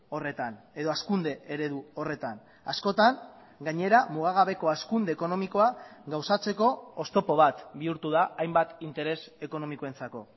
horretan edo hazkunde eredu horretan askotan gainera mugagabeko hazkunde ekonomikoa gauzatzeko oztopo bat bihurtu da hainbat interes ekonomikoentzako